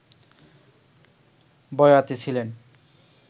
বয়াতি ছিলেন